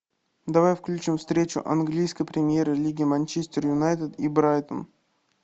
давай включим встречу английской премьер лиги манчестер юнайтед и брайтон